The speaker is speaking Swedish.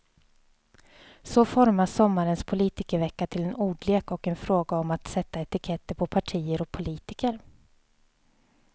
Så formas sommarens politikervecka till en ordlek och en fråga om att sätta etiketter på partier och politiker.